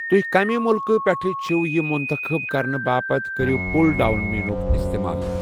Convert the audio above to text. تُہۍ کَمہِ مُلکہٕ پٮ۪ٹھٕ چھِو یہِ منتخب کرنہٕ باپتھ کٔرِو پُل ڈاوُن مینوُک استعمال۔